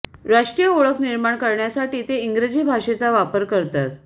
राष्ट्रीय ओळख निर्माण करण्यासाठी ते इंग्रजी भाषेचा वापर करतात